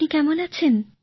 আপনি কেমন আছেন